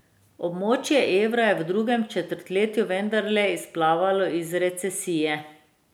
Območje evra je v drugem četrtletju vendarle izplavalo iz recesije.